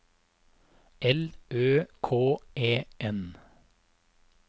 L Ø K E N